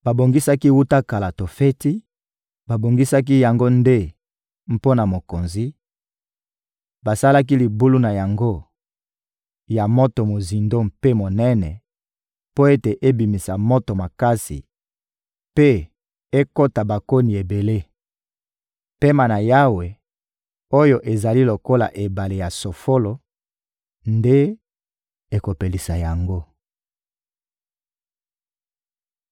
Babongisaki wuta kala Tofeti, babongisaki yango nde mpo na mokonzi; basalaki libulu na yango ya moto mozindo mpe monene mpo ete ebimisa moto makasi mpe ekota bakoni ebele. Pema na Yawe, oyo ezali lokola ebale ya sofolo nde ekopelisa yango.